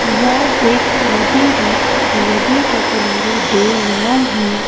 यह एक नदी है नदी के किनारे दो नांव है।